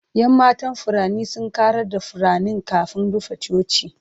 Yan matan furanni sun ƙarar da furanni kafin rufe coci.